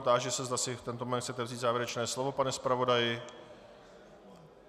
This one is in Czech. Táži se, zda si v tento moment chcete vzít závěrečné slovo, pane zpravodaji.